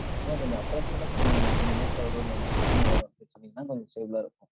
அதான் கொஞ்சம் approximate ஆ சொல்லுங்க, இந்த week ல வரும், இல்ல இந்த கிழமை வரும் அப்படின்னா கொஞ்சம் fable ஆ இருக்கும்.